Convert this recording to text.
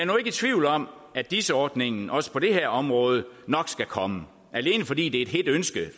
nu ikke i tvivl om at dis ordningen også på det her område nok skal komme alene fordi det er et hedt ønske